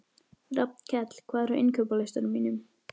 Rafnkell, hvað er á innkaupalistanum mínum?